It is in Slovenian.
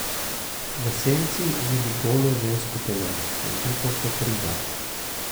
V senci vidi golo žensko telo, zvito kot riba.